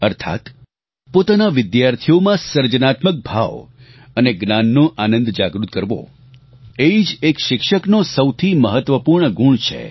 અર્થાત્ પોતાના વિદ્યાર્થીઓમાં સર્જનાત્મક ભાવ અને જ્ઞાનનો આનંદ જાગૃત કરવો એ જ એક શિક્ષકનો સૌથી મહત્વપૂર્ણ ગુણ છે